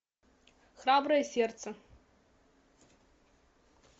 храброе сердце